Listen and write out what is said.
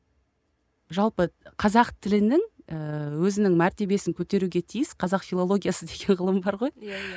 жалпы қазақ тілінің ііі өзінің мәртебесін көтеруге тиіс қазақ филологиясы деген ғылым бар ғой иә иә